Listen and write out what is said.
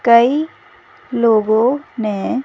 कई लोगों ने--